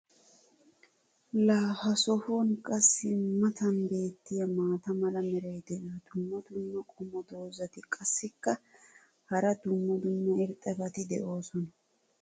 laa ha sohuwan qassi matan beetiya maata mala meray diyo dumma dumma qommo dozzati qassikka hara dumma dumma irxxabati doosona.